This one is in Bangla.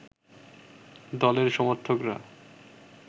দলের সমর্থকরা